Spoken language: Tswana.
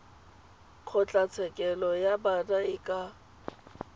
kgotlatshekelo ya bana e ka